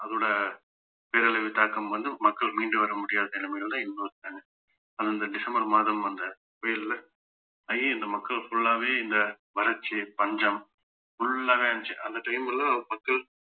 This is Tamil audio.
அதோட பேரழிவு தாக்கம் வந்து மக்கள் மீண்டு வர முடியாத நிலைமையிலதான் இன்னும் இருக்காங்க அந்தந்த டிசம்பர் மாதம் வந்த புயல்ல இந்த மக்கள் full ஆவே இந்த வறட்சி பஞ்சம் full ஆவே இருந்துச்சு அந்த time ல மக்கள்